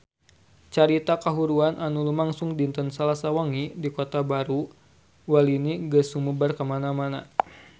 Carita kahuruan anu lumangsung dinten Salasa wengi di Kota Baru Walini geus sumebar kamana-mana